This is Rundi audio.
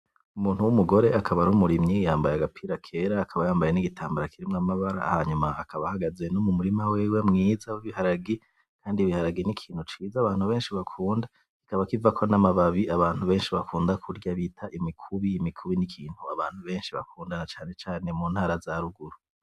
Umuntu w’umugore akaba ari umurimyi yambaye agapira kera, akaba yambaye n’igitambara kirimwo amabara, hanyuma akaba ahagaze no mu murima wiwe mwiza w’ibiharage. Kandi ibiharage ni ikintu ciza abantu benshi bakunda, kikaba kivako n’amababi abantu benshi bakunda kurya bita imikubi. Imikubi ni ikintu abantu benshi bakunda cane cane mu ntara zaruguru.